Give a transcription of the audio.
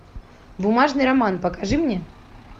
бумажный роман покажи мне